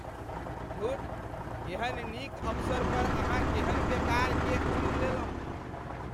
धुर, एहन नीक अवसर पर अहाँ केहन बेकार केक चुनि लेलहुँ।